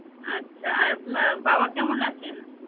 আচ্ছা আর উম বাবা কেমন আছেন?